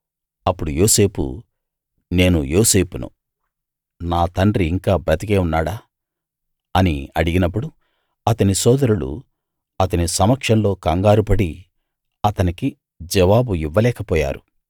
అప్పుడు యోసేపు నేను యోసేపును నా తండ్రి ఇంకా బతికే ఉన్నాడా అని అడిగినప్పుడు అతని సోదరులు అతని సమక్షంలో కంగారుపడి అతనికి జవాబు ఇవ్వలేకపోయారు